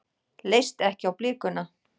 Leist ekki á blikuna.